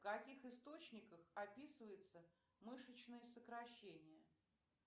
в каких источниках описывается мышечное сокращение